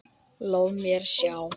Lof mér sjá